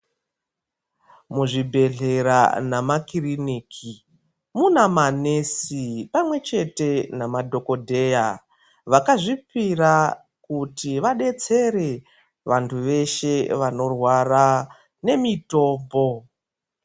Muzvibhedhlera nama kiriniki Muna manesi pamwe chete namadhokodheya vakazvipira kuti vadetsere vantu veshe vanorwara nemitombo.